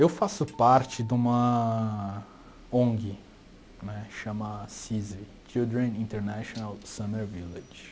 Eu faço parte de uma ONG nè, chama CISV, Children International Summer Village.